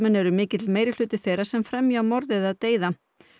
er mikill meirihluti þeirra sem fremja morð eða deyða